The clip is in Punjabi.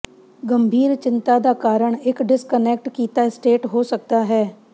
ਗੰਭੀਰ ਚਿੰਤਾ ਦਾ ਕਾਰਨ ਇੱਕ ਡਿਸਕਨੈਕਟ ਕੀਤਾ ਸਟੇਟ ਹੋ ਸਕਦਾ ਹੈ